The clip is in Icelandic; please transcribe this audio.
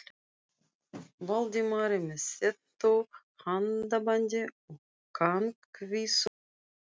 Valdimari með þéttu handabandi og kankvísu brosi.